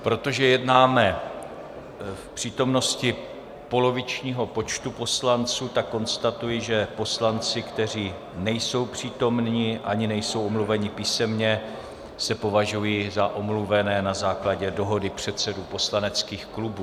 Protože jednáme v přítomnosti polovičního počtu poslanců, tak konstatuji, že poslanci, kteří nejsou přítomni ani nejsou omluveni písemně, se považují za omluvené na základě dohody předsedů poslaneckých klubů.